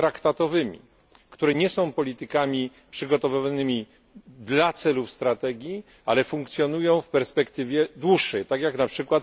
traktatowymi, które nie są politykami przygotowywanymi dla celów strategii, ale funkcjonują w perspektywie dłuższej, tak jak np.